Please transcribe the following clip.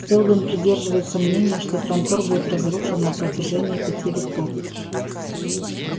сэлдон придерживается мнения что трантор будет разрушен на протяжении пяти веков